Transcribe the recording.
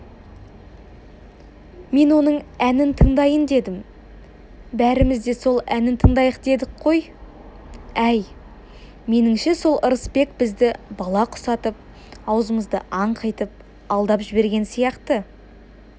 мен оның әнін тыңдайын дедім бәріміз де сол әнін тыңдайық дедік қой әй меніңше сол ырысбек бізді бала құсатып аузымызды аңқитып алдап жіберген сияқты